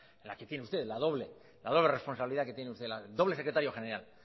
en la que tiene usted la doble la doble responsabilidad que tiene usted la doble secretario general